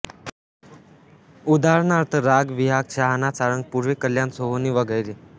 उदाहरणार्थ राग बिहाग शहाणा सारंग पूर्वी कल्याण सोहोनी वगैरे